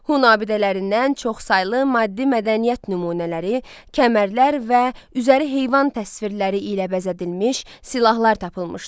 Hun abidələrindən çoxsaylı maddi-mədəniyyət nümunələri, kəmərlər və üzəri heyvan təsvirləri ilə bəzədilmiş silahlar tapılmışdı.